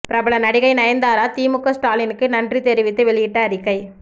பிரபல நடிகை நயன்தாரா திமுக ஸ்டாலினுக்கு நன்றி தெரிவித்து வெளியிட்ட அறிக்கை